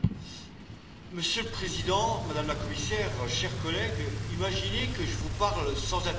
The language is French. Monsieur le Président, Madame la Commissaire, chers collègues, imaginez que je vous parle sans interprétation.